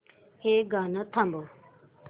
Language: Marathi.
हे गाणं थांबव